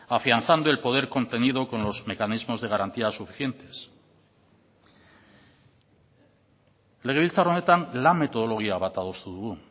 afianzando el poder contenido con los mecanismos de garantías suficientes legebiltzar honetan lan metodologia bat adostu dugu